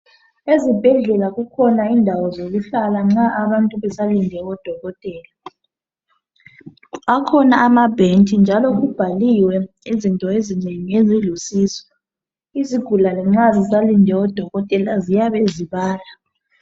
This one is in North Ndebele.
Ezibhedlela kukhona indawo zokuhlala nxa abantu besalinde odokotela; akhona ama-bench, njalo kubhaliwe izinto ezinengingengi ezosizo izigulane nxa zisalinde odokotela ziyabe zibala